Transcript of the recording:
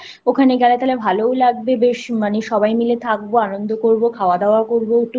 ওখানে গেলে ভালোও লাগবে বেশ মানে সবাই মিলে থাকবো আনন্দ করবো খাওয়া দাওয়া করবো